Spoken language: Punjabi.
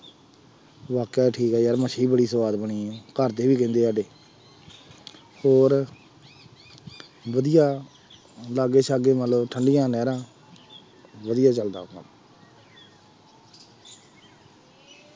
ਵਾਕਿਆ ਠੀਕ ਹੈ ਯਾਰ ਮੱਛੀ ਬੜੀ ਸੁਆਦ ਬਣੀ ਸੀ, ਘਰ ਦੇ ਵੀ ਕਹਿੰਦੇ ਆ ਸਾਡੇ ਹੋਰ ਵਧੀਆ ਲਾਗੇ ਸਾਗੇ ਮਤਲਬ ਠੰਡੀਆਂ ਨਹਿਰਾਂ ਵਧੀਆ ਚੱਲਦਾ।